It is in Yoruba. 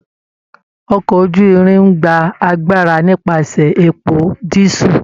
Ọkọ̀ oju-irin ń gba agbára nípasẹ̀ epo dísúù